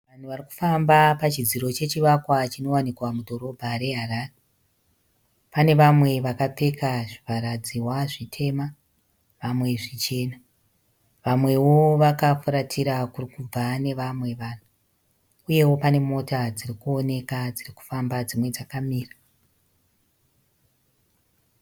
Vanhu vari kufamba pachidziro chechivakwa chinowanikwa mudhorobha reHarare. Pane vamwe vakapfeka zvivharadzihwa zvitema vamwe zvichena. Vamwewo vakafuratira kuri kubva nevamwe vanhu uyewo pane mota dzirikuwoneka dziri kufamba dzimwe dzakamira.